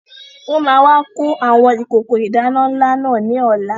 Wọn máa wà kó àwọn ìkókó ìdáná ńlá náà ní ọ̀la